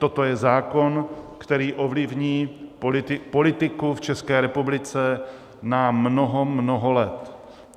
Toto je zákon, který ovlivní politiku v České republice na mnoho, mnoho let.